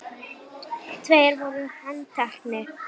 Tveir voru handtekni